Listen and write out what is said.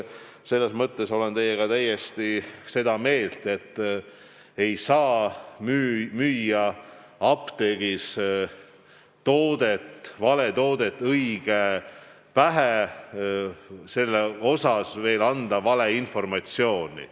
Selles mõttes olen teiega täiesti sama meelt, et ei saa müüa apteegis vale toodet õige pähe ja anda selle kohta veel valeinformatsiooni.